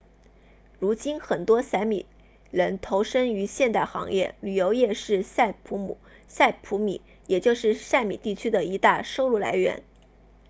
如今很多萨米人投身于现代行业旅游业是萨普米也就是萨米地区的一大收入来源